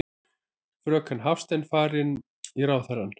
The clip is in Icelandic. Fröken Hafstein fari í ráðherrann.